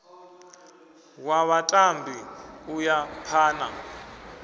wa vhatambi u ya phana